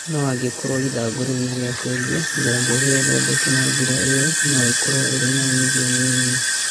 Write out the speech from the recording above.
No angĩkorwo ithangũ rĩu nĩrĩacenjia, njanjo ĩyo thondeke na njĩra ĩyo nĩĩkorwo ĩrĩ na umuthio mũnini